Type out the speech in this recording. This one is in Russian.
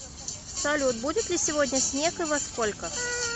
салют будет ли сегодня снег и во сколько